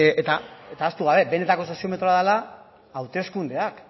eta ahaztu gabe benetako soziometro dela hauteskundeak